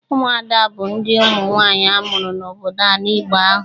Ụmụada bụ ndị ụmụ nwaanyị amụrụ n'obodo ala Igbo ahụ.